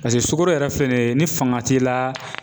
Paseke sukoro yɛrɛ filɛ ni ye ni fanga t'i la